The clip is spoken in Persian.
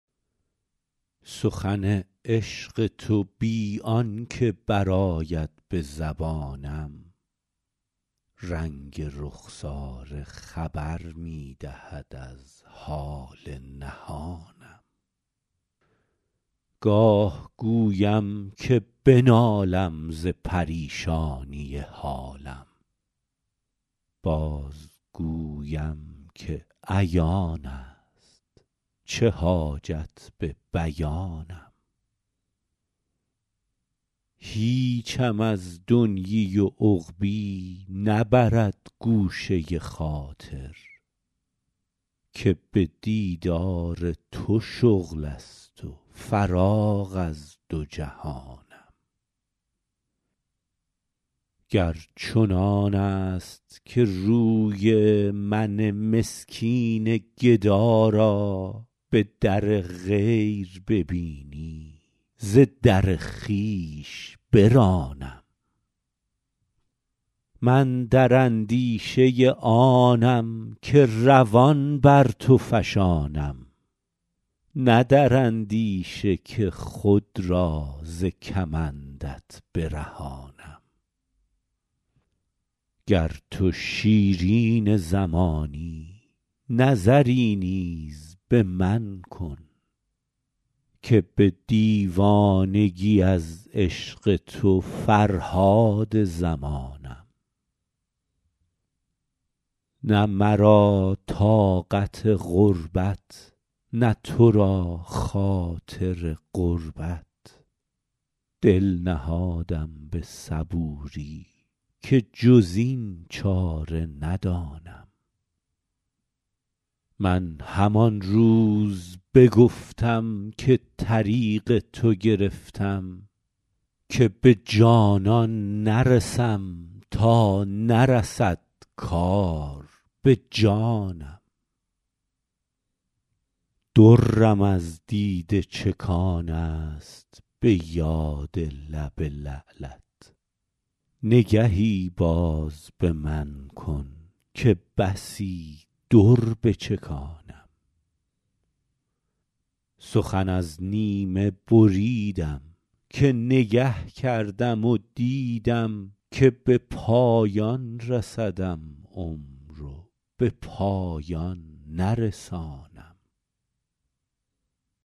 سخن عشق تو بی آن که برآید به زبانم رنگ رخساره خبر می دهد از حال نهانم گاه گویم که بنالم ز پریشانی حالم بازگویم که عیان است چه حاجت به بیانم هیچم از دنیی و عقبیٰ نبرد گوشه خاطر که به دیدار تو شغل است و فراغ از دو جهانم گر چنان است که روی من مسکین گدا را به در غیر ببینی ز در خویش برانم من در اندیشه آنم که روان بر تو فشانم نه در اندیشه که خود را ز کمندت برهانم گر تو شیرین زمانی نظری نیز به من کن که به دیوانگی از عشق تو فرهاد زمانم نه مرا طاقت غربت نه تو را خاطر قربت دل نهادم به صبوری که جز این چاره ندانم من همان روز بگفتم که طریق تو گرفتم که به جانان نرسم تا نرسد کار به جانم درم از دیده چکان است به یاد لب لعلت نگهی باز به من کن که بسی در بچکانم سخن از نیمه بریدم که نگه کردم و دیدم که به پایان رسدم عمر و به پایان نرسانم